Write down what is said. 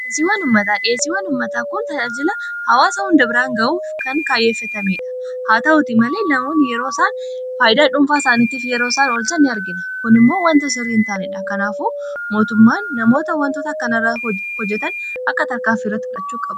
dhesii wanummataa dhieesii wanummataa kun tajaajila hawaasa hundabiraan ga'uuf kan kaayyeeffetamee dha haa ta'uti malee namaon yeroo isaan faaydaa dhuunfaa isaaniitiif yeroo isaan olcha in argina kun immoo wanta sirri hin taaniidha kanaafu mootummaan namoota wantoota akkanarraa hojetan akka tarkaaf fiirratti fudhachuu a